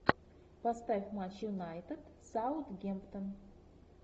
поставь матч юнайтед саутгемптон